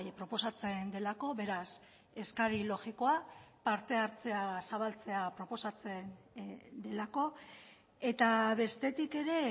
proposatzen delako beraz eskari logikoa parte hartzea zabaltzea proposatzen delako eta bestetik ere